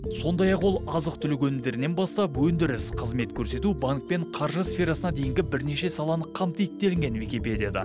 сондай ақ ол азық түлік өнімдерінен бастап өндіріс қызмет көрсету банк пен қаржы сферасына дейінгі бірнеше саланы қамтиды делінген википедияда